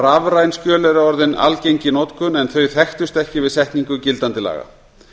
rafræn skjöl er orðin algeng í notkun en þau þekktust ekki við setningu gildandi laga